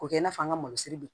K'o kɛ i n'a fɔ an ka masiri bi